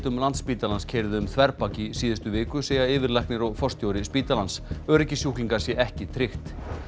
Landspítalans keyrði um þverbak í síðustu viku segja yfirlæknir og forstjóri spítalans öryggi sjúklinga sé ekki tryggt